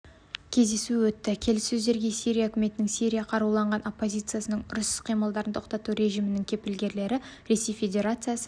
кездесу өтті келіссөздерге сирия үкіметінің сирия қаруланған оппозициясының ұрыс іс-қимылдарын тоқтату режимінің кепілгерлері ресей федерациясы